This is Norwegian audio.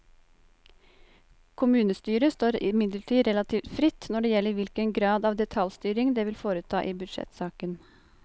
Kommunestyret står imidlertid relativt fritt når det gjelder hvilken grad av detaljstyring det vil foreta i budsjettsaken.